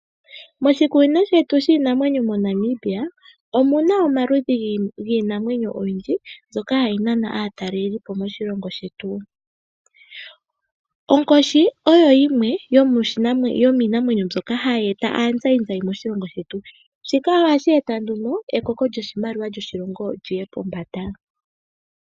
Moshikunino shetu shiinamwenyo moNamibia omuna omaludhi giinamwenyo ogendji mbyoka hayi nana aatalelipo moshilongo shetu. Onkoshi oyo yimwe yomiinamwenyo mbyoka hayi eta aazayizayi moshilongo shetu. Shika ohashi eta nduno ekoko lyoshimaliwa lyoshilongo lyiye pombanda.